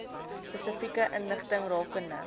spesifieke inligting rakende